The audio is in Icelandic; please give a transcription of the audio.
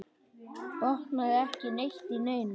Botnaði ekki neitt í neinu.